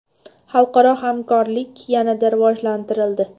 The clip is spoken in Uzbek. Xalqaro hamkorlik yanada rivojlantirildi.